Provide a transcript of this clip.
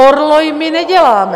Orloj my neděláme.